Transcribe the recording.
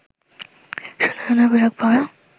সুন্দর সুন্দর পোশাক পরা